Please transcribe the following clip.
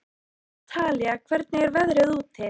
Talía, hvernig er veðrið úti?